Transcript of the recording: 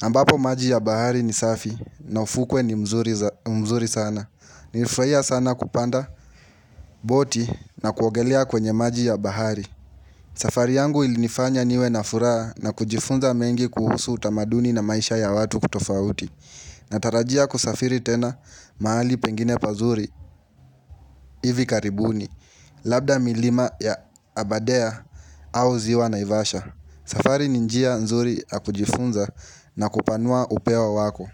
ambapo maji ya bahari ni safi na ufukwe ni mzuri sana Nilifurahia sana kupanda, boti na kuogelea kwenye maji ya bahari safari yangu ilinifanya niwe na furaha na kujifunza mengi kuhusu utamaduni na maisha ya watu kitofauti natarajia kusafiri tena mahali pengine pazuri hivi karibuni Labda milima ya aberdare au ziwa naivasha safari ni njia nzuri ya kujifunza na kupanua upeo wako.